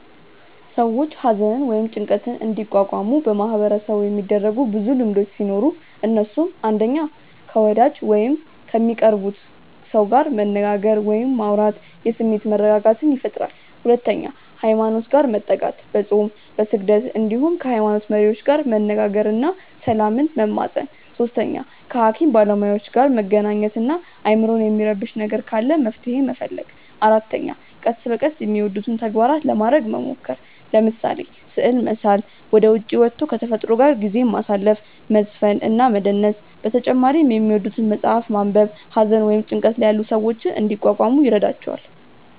ሰዎች ሃዘንን ወይም ጭንቀትን እንዲቋቋሙ በማህበረሰቡ የሚደረጉ ብዙ ልምዶቹ ሲኖሩ እነሱም፣ 1. ከ ወዳጅ ጋር ወይም ከሚቀርቡት ሰው ጋር መነጋገር ወይም ማውራት የስሜት መረጋጋትን ይፈጥራል 2. ሃይማኖት ጋር መጠጋት፦ በፆም፣ በስግደት እንዲሁም ከ ሃይሞኖት መሪዎች ጋር መነጋገር እና ሰላምን መማፀን 3. ከ ሃኪም ባለሞያዎች ጋር መገናኘት እና አይምሮን የሚረብሽ ነገር ካለ መፍትሔ መፈለግ 4. ቀስ በቀስ የሚወዱትን ተግባራት ለማረግ መሞከር፤ ለምሳሌ፦ ስዕል መሳል፣ ወደ ዉጪ ወቶ ከ ተፈጥሮ ጋር ጊዜ ማሳለፍ፣ መዝፈን እና መደነስ በተጨማሪ የሚወዱትን መፅሐፍ ማንበብ ሃዘን ወይም ጭንቀት ላይ ያሉ ሰዎችን እንዲቋቋሙ ይረዷቸዋል።